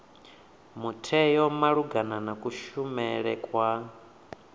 mutheo malugana na kushumele kwa